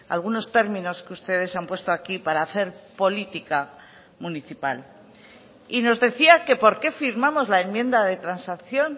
algunos términos que ustedes han puesto aquí para hacer política municipal y nos decía que por qué firmamos la enmienda de transacción